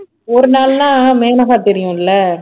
ஒரு நாள்ன்னா மேனகா தெரியும் இல்ல